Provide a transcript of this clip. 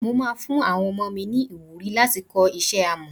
Mo máa fún àwọn ọmọ mi ni ìwúrí láti kọ́ iṣẹ́ Amọ́.